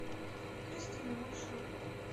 кристина маршрут